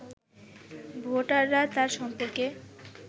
ভোটাররা তার সম্পর্কে